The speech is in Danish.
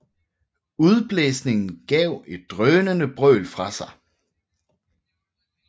Udblæsningen gav et drønende brøl fra sig